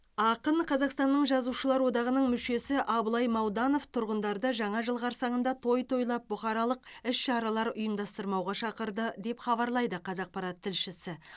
ақын қазақстанның жазушылар одағының мүшесі абылай мауданов тұрғындарды жаңа жыл қарсаңында той тойлап бұқаралық іс шаралар ұйымдастырмауға шақырды деп хабарлайды қазақпарат тілшісі